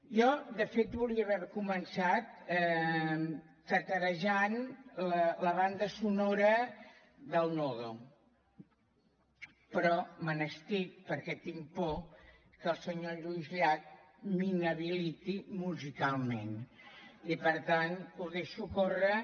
jo de fet volia haver començat taral·lejant la banda sonora del nodo però me n’estic perquè tinc por que el senyor lluís llach m’inhabiliti musicalment i per tant ho deixo córrer